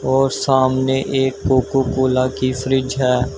और सामने एक कोको कोला की फ्रिज है।